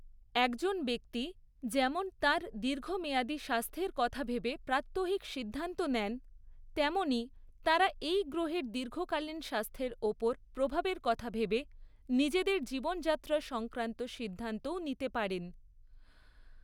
একজন ব্যক্তি যেমন তাঁর দীর্ঘমেয়াদী স্বাস্থ্যের কথা ভেবে প্রাত্যহিক সিদ্ধান্ত নেন, তেমনি তাঁরা এই গ্রহের দীর্ঘকালীন স্বাস্থ্যের ওপর প্রভাবের কথা ভেবে নিজেদের জীবনযাত্রা সংক্রান্ত সিদ্ধান্তও নিতে পারেন।